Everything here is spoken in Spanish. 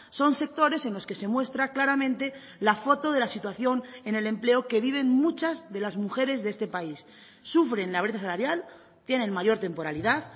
son sectores en los que se muestra claramente la foto de la situación en el empleo que viven muchas de las mujeres de este país sufren la brecha salarial tienen mayor temporalidad